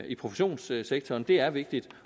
i professionssektoren det er vigtigt